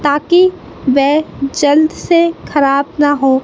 ताकि वे जल्द से खराब ना हो--